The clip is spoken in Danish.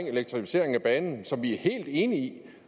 elektrificering af banen som vi er helt enige i